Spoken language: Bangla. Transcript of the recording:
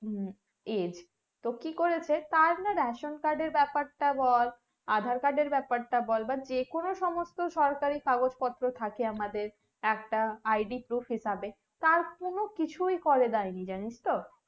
age তো কি করেছে তাড়না ration card এর ব্যাপারটা বল andar card এর ব্যাপারটা বল বা যেকোনো সরকারি কাগজ পত্র থাকে আমাদেরএকটা id proof হিসাবে তার কোনো কিছুই করে ডাইনি জানিসতো